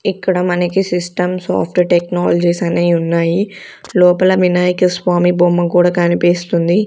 ఇక్కడ మనకి System Soft Technologies అనేవి ఉన్నాయి లోపల వినాయక స్వామి బొమ్మ కూడా కనిపిస్తుంది.